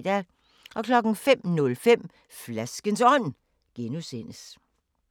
05:05: Flaskens Ånd (G)